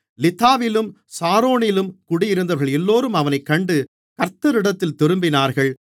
லித்தாவிலும் சாரோனிலும் குடியிருந்தவர்களெல்லோரும் அவனைக் கண்டு கர்த்தரிடத்தில் திரும்பினார்கள்